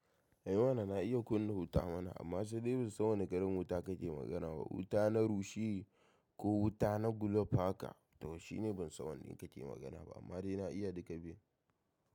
Eh mana na iya kunna wuta mana amma sai dai ban san wane kalan wuta ka ke magana ba. Wuta na rushe ko wuta na gulof haka? Tashi ne ban san wanda kake magana ba amma dai na iya duka biyun.